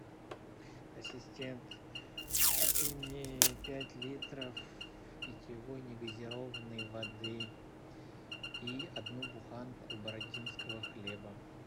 ассистент купи мне пять литров питьевой негазированной воды и одну буханку бородинского хлеба